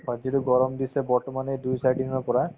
হয়, যিটো গৰম দিছে বৰ্তমান এই দুই চাৰি দিনৰ পৰা